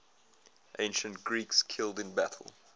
ancient greeks killed in battle